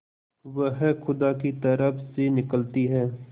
वह खुदा की तरफ से निकलती है